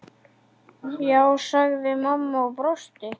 Já, sagði mamma og brosti.